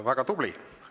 Väga tubli!